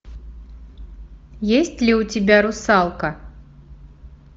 есть ли у тебя русалка